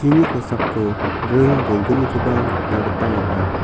kosako ring bolgnikoba nikna gita man·a.